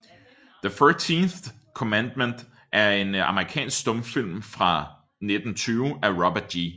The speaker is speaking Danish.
The Thirteenth Commandment er en amerikansk stumfilm fra 1920 af Robert G